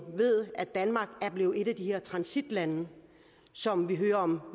at danmark er blevet et af de her transitlande som vi hører om